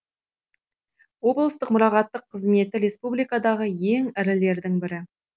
облыстық мұрағаттық қызметі республикадағы ең ірілердің бірі